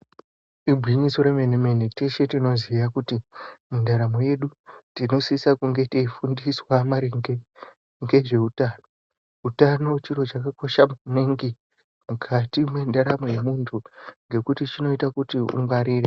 Igwinyiso remene-mene, teshe tinoziya kuti mundaramo yedu tinosisa kunge teifundiswa maringe ngezveutano. Utano chiro chakakosha maningi, mukati mwendaramo yemuntu, ngekuti chinoita kuti ungwarire.